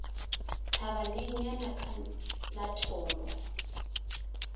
thabaneng ya naka la tholo